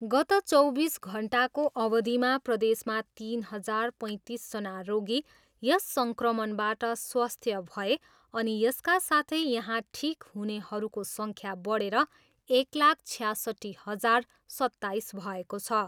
गत चौबिस घन्टाको अवधिमा प्रदेशमा तिन हजार पैँतिसजना रोगी यस सङ्क्रमणबाट स्वस्थ्य भए अनि यसका साथै यहाँ ठिक हुनेहरूको सङ्ख्या बढेर एक लाख छयासट्ठी हजार सत्ताइस भएको छ।